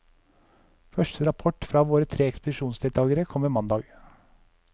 Første rapport fra våre tre ekspedisjonsdeltagere kommer mandag.